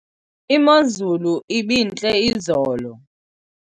imozulu ibintle izolo